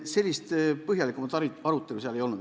Sellist põhjalikumat arutelu seal ei olnud.